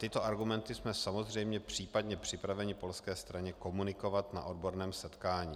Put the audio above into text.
Tyto argumenty jsme samozřejmě případně připraveni polské straně komunikovat na odborném setkání.